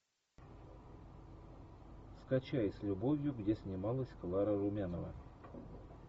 скачай с любовью где снималась клара румянова